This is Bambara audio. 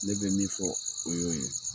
Ne bɛ min fɔ o ye'o ye.